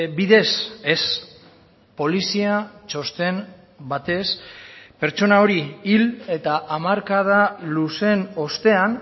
bidez ez polizia txosten batez pertsona hori hil eta hamarkada luzeen ostean